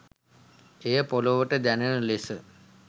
එය පොළවට දැනෙන ලෙස